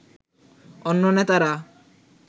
অন্য নেতারা